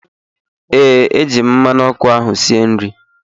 Ee, eji m mmanụ ọkụ ahụ sie nri